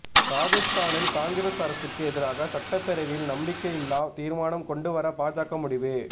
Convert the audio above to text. ராஜஸ்தானில் காங்கிரஸ் அரசுக்கு எதிராக சட்டப்பேரவையில் நம்பிக்கையில்லா தீர்மானம் கொண்டு வர பாஜக முடிவு